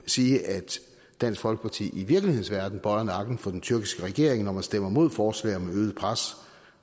sige at dansk folkeparti i virkelighedens verden bøjer nakken for den tyrkiske regering når man stemmer imod forslag om et øget pres